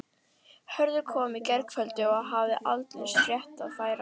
Hörður kom í gærkvöldi og hafði aldeilis fréttir að færa.